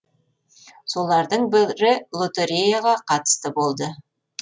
солардың бірі лотереяларға қатысты болды